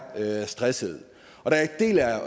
stressede